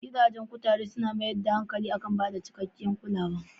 Gidajen kuture suna mayar da hankali kan ba da cikakkiyar kulawa.